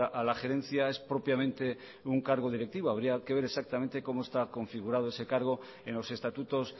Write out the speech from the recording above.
a la gerencia es propiamente un cargo directivo habría que ver exactamente cómo está configurado ese cargo en los estatutos